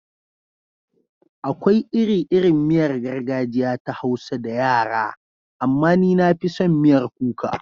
Akwai iri-irin miyar gargajiya ta Hausa da yara, amma ni na fi son miyar kuka.